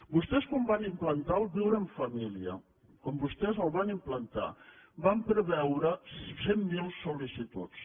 vostès quan van implantar el viure en família quan vostès el van implantar van preveure cent mil sol·licituds